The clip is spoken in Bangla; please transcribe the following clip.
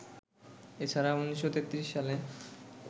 এছাড়া ১৯৩৩ সালে